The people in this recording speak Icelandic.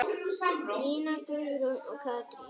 Nína Guðrún og Katrín.